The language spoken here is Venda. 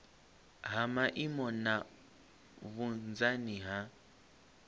ha maimo na vhunzani ha